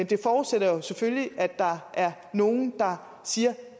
det forudsætter jo selvfølgelig at der er nogen der siger